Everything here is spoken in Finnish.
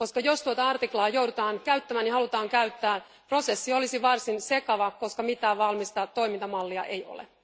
Jos tuota artiklaa joudutaan näes käyttämään ja halutaan käyttää, prosessi olisi varsin sekava, koska mitään valmista toimintamallia ei ole.